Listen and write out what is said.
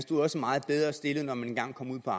komme ind på